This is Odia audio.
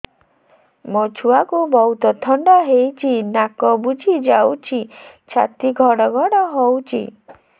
ମୋ ଛୁଆକୁ ବହୁତ ଥଣ୍ଡା ହେଇଚି ନାକ ବୁଜି ଯାଉଛି ଛାତି ଘଡ ଘଡ ହଉଚି